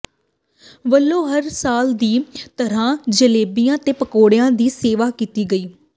ਵੱਲੋਂ ਹਰ ਸਾਲ ਦੀ ਤਰ੍ਹਾਂ ਜਲੇਬੀਆਂ ਤੇ ਪਕੌੜਿਆਂ ਦੀ ਸੇਵਾ ਕੀਤੀ ਗਈ